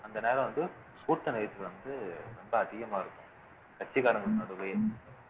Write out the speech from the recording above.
அந்த நேரம் வந்து கூட்ட நெரிசல் வந்து ரொம்ப அதிகமா இருக்கும் கட்சிக்காரங்களுக்கு நடுவுலயே